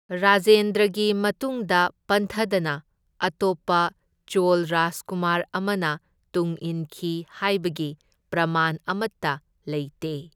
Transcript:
ꯔꯥꯖꯦꯟꯗ꯭ꯔꯒꯤ ꯃꯇꯨꯡꯗ ꯄꯟꯊꯗꯅ ꯑꯇꯣꯞꯄ ꯆꯣꯜ ꯔꯥꯖꯀꯨꯃꯥꯔ ꯑꯃꯅ ꯇꯨꯡꯏꯟꯈꯤ ꯍꯥꯏꯕꯒꯤ ꯄ꯭ꯔꯃꯥꯟ ꯑꯃꯠꯇ ꯂꯩꯇꯦ꯫